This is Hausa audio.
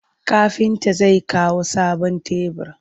Kafinta zai kawo sabon tebur.